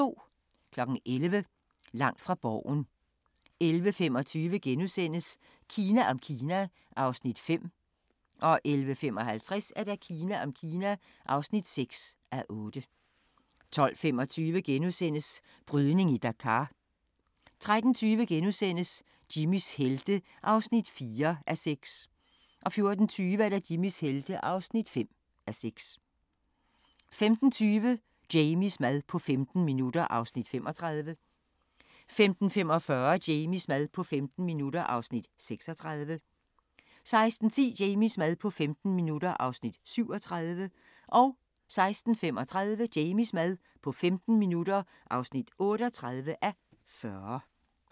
11:00: Langt fra Borgen 11:25: Kina om Kina (5:8)* 11:55: Kina om Kina (6:8) 12:25: Brydning i Dakar * 13:20: Jimmys helte (4:6)* 14:20: Jimmys helte (5:6) 15:20: Jamies mad på 15 minutter (35:40) 15:45: Jamies mad på 15 minutter (36:40) 16:10: Jamies mad på 15 minutter (37:40) 16:35: Jamies mad på 15 minutter (38:40)